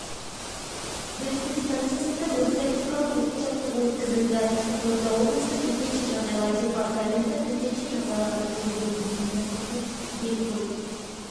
белкөл станциясында өрт-тактикалық оқу-жаттығу өткізілді қызылорда облысы төтенше жағдайлар департаменті төтенше жағдайларды жою бөлімінің ұйымдастыруымен белкөл